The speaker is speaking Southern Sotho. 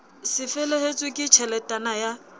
c felehetswe ke tjheletana ya